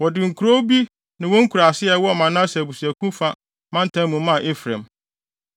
Wɔde nkurow bi ne wɔn nkuraase a ɛwɔ Manase abusuakuw no fa mantam mu maa Efraim.